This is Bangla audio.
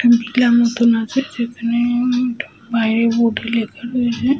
একটা ভিলা মতো আছে যেখানে উম বাইরে বোর্ডে লেখা রয়েছে --